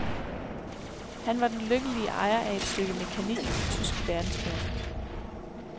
Han var den lykkelige ejer af et stykke mekanik i tysk verdensklasse.